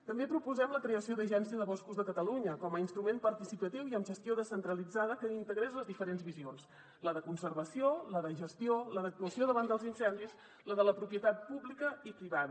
també proposem la creació de l’agència de boscos de catalunya com a instrument participatiu i amb gestió descentralitzada que integrés les diferents visions la de conservació la de gestió la d’actuació davant dels incendis la de la propietat pública i privada